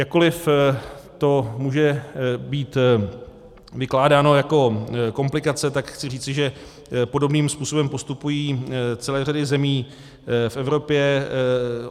Jakkoliv to může být vykládáno jako komplikace, tak chci říci, že podobným způsobem postupují celé řady zemí v Evropě.